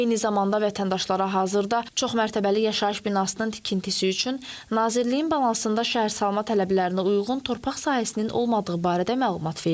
Eyni zamanda vətəndaşlara hazırda çoxmərtəbəli yaşayış binasının tikintisi üçün Nazirliyin balansında şəhərsalma tələblərinə uyğun torpaq sahəsinin olmadığı barədə məlumat verilib.